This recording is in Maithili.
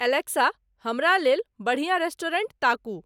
अलेक्सा हमरा लेल बढ़िया रेस्टोरेंट ताकू